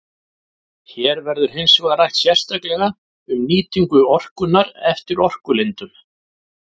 Hér verður hins vegar rætt sérstaklega um nýtingu orkunnar eftir orkulindum.